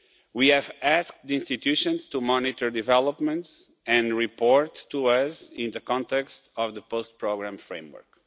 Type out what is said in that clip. We have asked the institutions to monitor developments and report to us in the context of the post-programme framework.